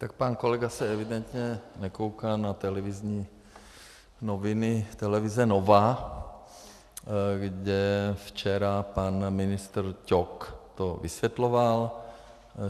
Tak pan kolega se evidentně nekouká na televizní noviny televize Nova, kde včera pan ministr Ťok to vysvětloval.